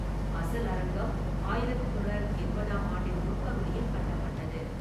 அசல் அரங்கம் ஆயிரத்து தொள்ளாயிரத்து எண்பதாம் ஆண்டின் முற்பகுதியில் கட்டப்பட்டது.